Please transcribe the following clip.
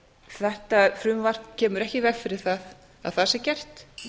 þetta frumvarp kemur ekki í veg fyrir að það sé gert